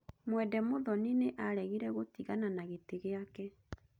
Mwende Muthoni nĩ aaregire gũtigana na gĩtĩ gĩake.